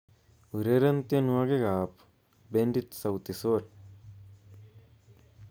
Ureren tienwokikab bendit Sauti Sol